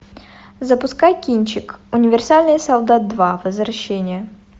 запускай кинчик универсальный солдат два возвращение